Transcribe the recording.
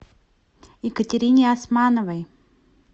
екатерине османовой